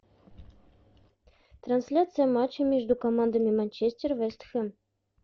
трансляция матча между командами манчестер вест хэм